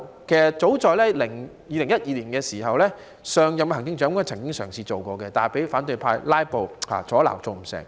其實早在2012年，上任行政長官曾經嘗試做過，但被反對派"拉布"阻撓而做不到。